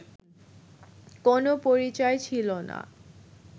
কোনো পরিচয় ছিল না